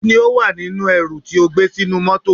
Kí ni ó wà nínú ẹrù tí ó gbé sínú mọ́tọ̀.